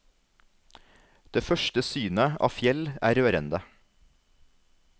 Det første synet av fjell er rørende.